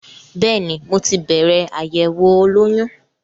Bẹ́ẹ̀ni, mo ti bẹ̀rẹ̀ àyẹ̀wò olóyún.